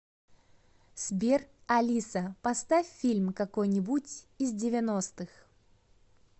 сбер алиса поставь фильм какой нибудь из девяностых